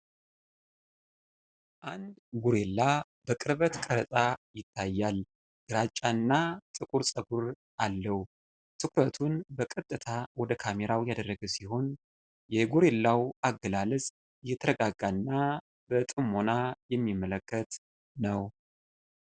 አንድ ጎሪላ በቅርበት ቀረጻ ይታያል፣ ግራጫ እና ጥቁር ፀጉር አለው። ትኩረቱን በቀጥታ ወደ ካሜራው ያደረገ ሲሆን፣ የጎሪላው አገላለጽ የተረጋጋ እና በጥሞና የሚመለከት ነው።